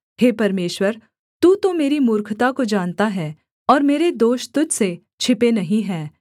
हे परमेश्वर तू तो मेरी मूर्खता को जानता है और मेरे दोष तुझ से छिपे नहीं हैं